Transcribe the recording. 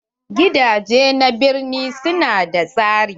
Gidaje na birni su na da tsari.